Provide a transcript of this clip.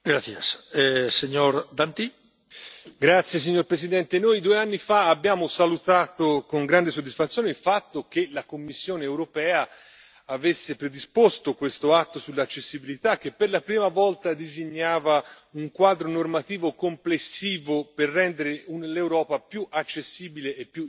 Signor Presidente, onorevoli colleghi, noi due anni fa abbiamo salutato con grande soddisfazione il fatto che la Commissione europea avesse predisposto questo atto sull'accessibilità, che per la prima volta disegnava un quadro normativo complessivo per rendere l'Europa più accessibile e più inclusiva.